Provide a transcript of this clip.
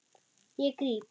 Ég gríp.